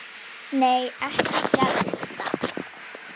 Nei, ekki Gedda.